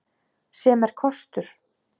Sem er kostur.